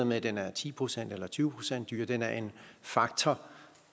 med at den er ti procent eller tyve procent dyrere den er en faktor